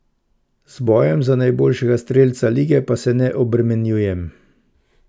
Z bojem za najboljšega strelca lige pa se ne obremenjujem.